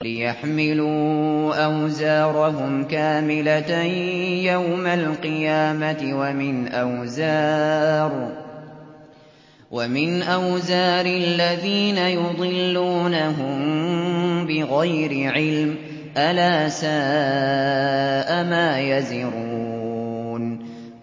لِيَحْمِلُوا أَوْزَارَهُمْ كَامِلَةً يَوْمَ الْقِيَامَةِ ۙ وَمِنْ أَوْزَارِ الَّذِينَ يُضِلُّونَهُم بِغَيْرِ عِلْمٍ ۗ أَلَا سَاءَ مَا يَزِرُونَ